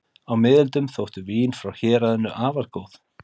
Á miðöldum þóttu vín frá héraðinu afar góð.